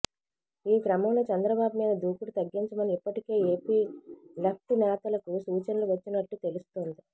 ఈ క్రమంలో చంద్రబాబు మీద దూకుడు తగ్గించమని ఇప్పటికే ఏపీ లెఫ్ట్ నేతలకు సూచనలు వచ్చినట్టు తెలుస్తోంది